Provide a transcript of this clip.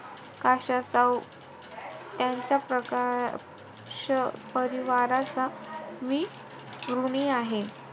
काशाचा त्यांच्या प्रकाश परिवाराचा मी ऋणी आहे.